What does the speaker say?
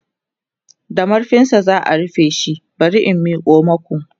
da marfinsa za'a rufe shi bari in Miko maku